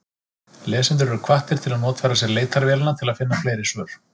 Lesendur eru hvattir til að notfæra sér leitarvélina til að finna fleiri svör.